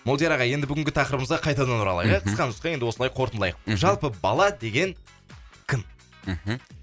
молдияр аға енді бүгінгі тақырыбымызға қайтадан оралайық ә мхм қысқа нұсқа енді осылай қортындылайық мхм жалпы бала деген кім мхм